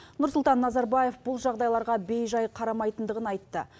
нұрсұлтан назарбаев бұл жағдайларға бейжай қарамайтындығын айтты